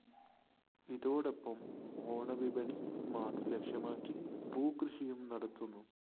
ഇതോടൊപ്പം ഓണ വിപണി മാത്രം ലക്ഷ്യമാക്കി പൂവ് കൃഷിയും നടത്തുന്നു